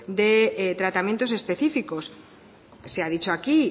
de tratamientos específicos se ha dicho aquí